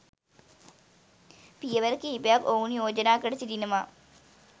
පියවර කිහිපයක් ඔවුන් යෝජනා කර සිටිනවා.